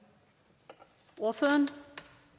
ordføreren